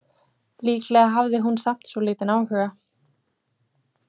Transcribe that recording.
Líklega hafði hún samt svolítinn áhuga.